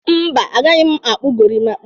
Mba, agaghị m akpụ golimap